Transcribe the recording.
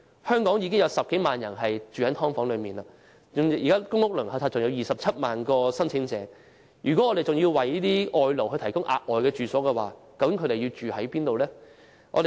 香港現時已有10多萬人在"劏房"居住，而公屋輪候冊上還有27萬名申請者正在輪候，如果我們還要為外勞提供住所，究竟可以安排他們在哪裏居住呢？